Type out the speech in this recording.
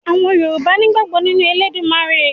Àwọn Yorùbá nígbàgbọ́ nínú Elédùmarè